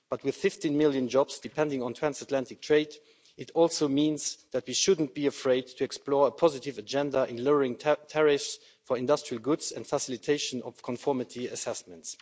But with 50 million jobs depending on transatlantic trade, it also means that we shouldn't be afraid to explore a positive agenda in lowering tariffs for industrial goods and facilitation of conformity assessments.